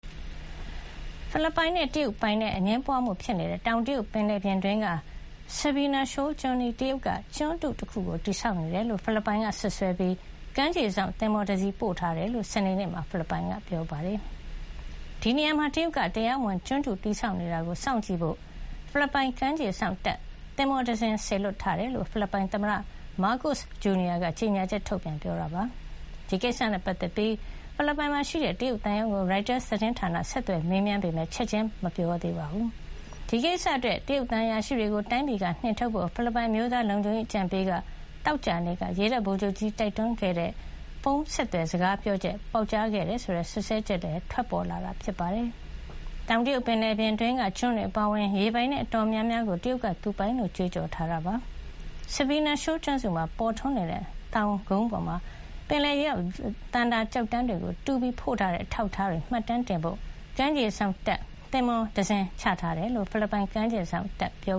ဖိလစ်ပိုင်နဲ့ တရုတ်ပိုင်နက်အငြင်းပွားမှု ဖြစ်နေတဲ့ တောင်တရုတ်ပင်လယ်ပြင်အတွင်းက Sabina Shoal ဆာဘီနာ ရှိုဝယ်လ် ကျွန်းအနီး တရုတ်က ကျွန်းတုတခု တည်ဆောက်နေတယ်လို့ ဖိလစ်ပိုင်ဘက်စွပ်စွဲထားပြီး၊ ဖိလစ်ပိုင် ကမ်း ခြေစောင့်သင်္ဘောတစီးကို ပို့ဆောင်ထားတယ်လို့ စနေနေ့မှာ ဖိလစ်ပိုင်ကပြောဆိုလိုက်ပါတယ်။ ဒီနေရာမှာ တရုတ်က တရားမဝင် ကျွန်းတုတည်ဆောက်နေတာကို စောင်ကြည့်ဖို့အတွက် ဖိလစ်ပိုင်ကမ်းခြေစောင့် တပ် သင်္ဘောတစင်းကို စေလွှတ်ထားတယ်လို့ ဖိလစ်ပိုင် သမ္မတ မားကို့စ်ဂျူနီယာက ကြေငြာချက်ထုတ်ပြန်ပြောဆိုပါတယ်။ ဒီကိစ္စနဲ့ပတ်သက်ပြီး ဖိလစ်ပိုင်မှာရှိတဲ့ တရုတ်သံရုံးကို ရိုက်တာသတင်းဌာနက ဆက်သွယ်မေးမြန်းခဲ့ပေမယ့် ချက်ခြင်း တုန့်ပြောဆိုတာမျိုး မရှိသေးပါဘူး။ ဒီကိစ္စအတွက် တရုတ်သံအရာရှိတွေကို တိုင်းပြည်ကနေ နှင်ထုတ်ဖို့ ဖိလစ်ပိုင်အမျိုးသားလုံခြုံရေးအကြံပေးက သောကြာနေ့တုန်းက ရေတပ်ဗိုလ်ချုပ်ကြီးကို တိုက်တွန်းခဲ့တဲ့ ဖုန်းဆက်သွယ် စကားပြောချက်ပေါက်ကြားခဲ့တယ်ဆိုတဲ့ စွပ်စွဲချက်တွေလည်း ထွက်ပေါ်ခဲ့ပါတယ်။ တောင်တရုတ်ပင်လယ်ပြင်အတွင်းက ကျွန်းတွေအပါအဝင် ရေပိုင်နက် အတော်များများကို တရုတ်က သူပိုင်လို့ ကြွေးကြော်ထားပါတယ်။ Sabina Shoal ကျွန်းစုမှာ ပေါ်ထွန်းနေတဲ့ သောင်ကုန်းပေါ်မှာ ပယ်လယ်ရေအောက် သန္တာ ကျောက်တန်းတွေကို တူးပြီး ဖို့ထားတဲ့ အထောက်အထားတွေကို မှတ်တမ်းတင်ဖို့ ကမ်းခြေစောင့်တပ် သင်္ဘောတစင်းကို ချထားတယ်လို့ ဖိလစ်ပိုင် ကမ်းခြေစောင့်တပ် ပြော